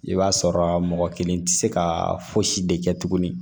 I b'a sɔrɔ mɔgɔ kelen tɛ se ka fosi de kɛ tuguni